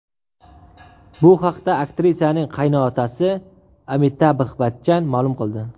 Bu haqda aktrisaning qaynotasi Amitabh Bachchan ma’lum qildi.